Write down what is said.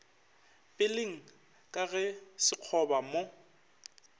peleng ka ge sekgoba mo